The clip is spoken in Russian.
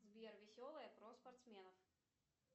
сбер веселое про спортсменов